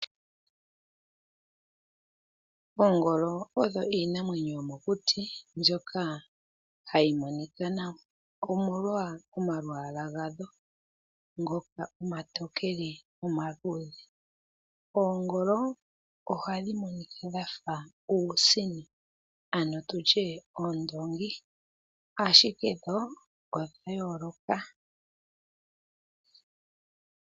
Oongolo odho iinamwenyo yomokuti mbyoka hayi monika nawa omolwa omalwaala gadho ngoka omatokele nomaluudhe, oongolo ohadhi monika dhafa uusino ano tutye oondongi ashike dho odha yooloka.